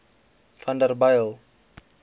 vanderbijl